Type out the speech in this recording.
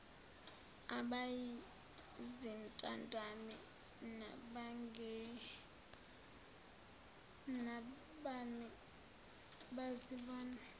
abayizintandane nabangenabani bazibone